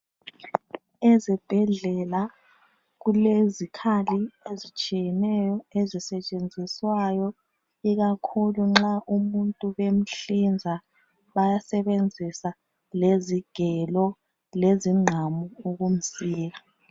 Ezibhedlela kulezikhali ezitshiyeneyo ezisetshenziswayo ikakhulu nxa umuntu bemhlinza bayasebenzisa lezigelo, lezingqamu ukumsika .